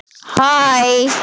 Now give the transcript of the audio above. Kjói, hvernig er dagskráin?